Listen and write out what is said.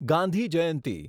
Gandhi Jayanti